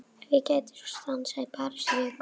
Ef ég gæti svo stansað í París í viku?